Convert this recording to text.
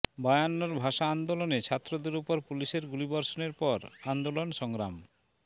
বায়ান্নর ভাষা আন্দোলনে ছাত্রদের ওপর পুলিশের গুলিবর্ষণের পর আন্দোলন সংগ্রাম